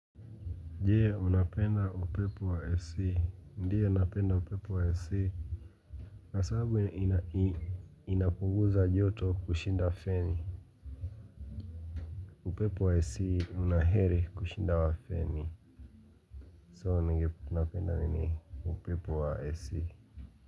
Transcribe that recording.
Je, unapenda upepo wa AC, ndiyo napenda upepo wa AC kwa sababu ina inapuguza joto kushinda feni. Upepo wa AC una heri kushinda wa feni. So napenda nini, upepo wa AC.